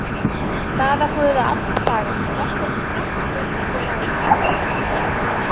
Daða Guð alla daga Besti knattspyrnumaður Íslands í dag?